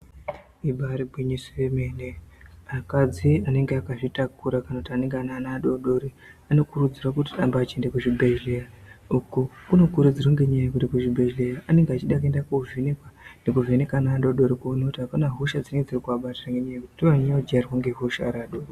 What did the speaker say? Ibari gwinyiso yemene akadzi anenge akazvitakura kana kuti anenge ane ana adodori. Anokurudzirwa kuti arambe achienda kuzvibhedhleya uko kunokurudzirwa ngenyaya yekuti kuchibhedhleya anenge achida kuenda kovhenekwa. Nekuvheneka ana adodori kuti hapana hosha dzinenge dzirikuabatira ngenyaya yekuti ndoanonyanya kuvajairira ngehosha ari adodori.